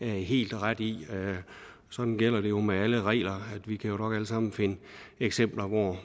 helt ret i sådan gælder det jo med alle regler vi kan jo nok alle sammen finde eksempler hvor